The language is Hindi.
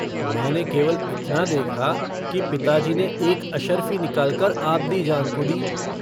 मैने केवल इतना देखा कि पिताजी ने एक अशर्फ़ी निकालकर आबदीजान को दी।